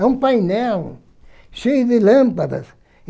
É um painel cheio de lâmpadas.